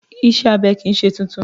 Ìṣe abẹ kì í ṣe tuntun